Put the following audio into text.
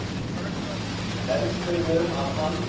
Heldurðu að hann